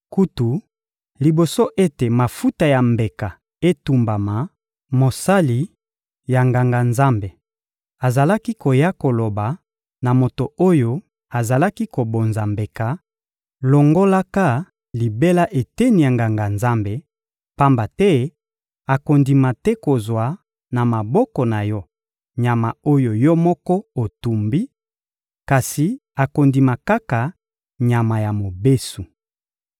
Kutu, liboso ete mafuta ya mbeka etumbama, mosali ya Nganga-Nzambe azalaki koya koloba na moto oyo azalaki kobonza mbeka: «Longolaka libela eteni ya Nganga-Nzambe, pamba te akondima te kozwa na maboko na yo nyama oyo yo moko otumbi; kasi akondima kaka nyama ya mobesu.»